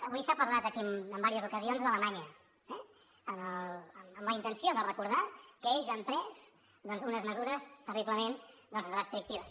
avui s’ha parlat aquí en diverses ocasions d’alemanya amb la intenció de recordar que ells han pres unes mesures terriblement restrictives